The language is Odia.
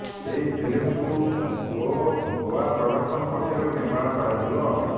ଏହି ଫିଲ୍ମକୁ ଗୋ ଗୋଆ ପ୍ରଡକ୍ସନ ପକ୍ଷରୁ ନିର୍ମାଣ କରାଯିବ